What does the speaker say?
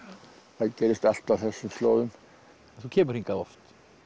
það gerðist allt á þessum slóðum þú kemur hingað oft